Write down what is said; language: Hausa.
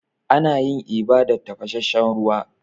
Ana yin eba da tafasasshen ruwa.